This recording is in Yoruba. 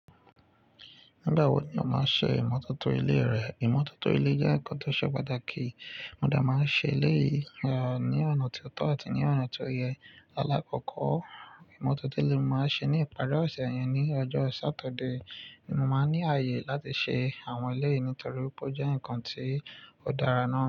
Nígbà wo ni ó máa ń ṣe ìmọ́tótó ilé rẹ? Ìmọ́tótó ilé jẹ́ nǹkan tó ṣe pàtàkì. Mo dà máa ń ṣe ilé yi a ní ọ̀nà tó tọ́ àti ní ọ̀nà tó yẹ. Alákọ̀kọ̀ ìmọ́tótó ilé mo máa ń ṣe ní ìparí ọ̀sẹ̀ yẹn ní ọjọ́ Saturday. Ni mo máa ń ní ààyè láti ṣe àwọn eleyìí nítorí pé ó jẹ́ ǹkan tí ó dára náà.